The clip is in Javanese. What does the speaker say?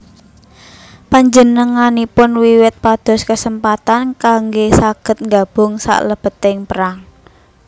Panjenenganipun wiwit pados kesempatan kanggé saged nggabung salebeting perang